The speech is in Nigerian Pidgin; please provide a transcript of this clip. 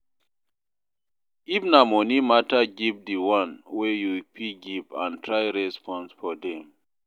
If na money matter give di one wey you fit give and try raise funds for dem